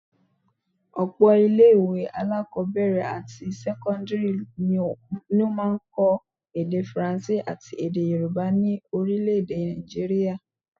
Ọ̀pọ̀ ilé-ìwé alákọ́bẹ̀rẹ̀ àti sẹ́kọ́ndírì ni wọ́n máa ń kọ́ èdè Faransé àti èdè Yorùbá ni orílé-èdè Naijiria